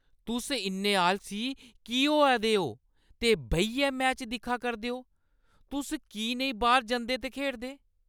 तुस इन्ने आलसी की होआ दे ओ ते बेहियै मैच दिक्खा करदे ओ? तुस की नेईं बाह्‌र जंदे ते खेढदे?